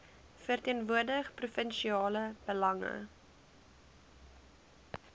verteenwoordig provinsiale belange